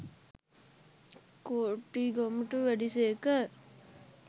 කෝටිගමට වැඩි සේක